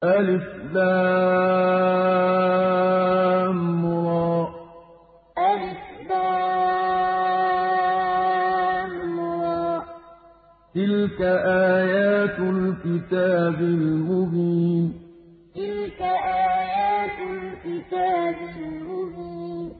الر ۚ تِلْكَ آيَاتُ الْكِتَابِ الْمُبِينِ الر ۚ تِلْكَ آيَاتُ الْكِتَابِ الْمُبِينِ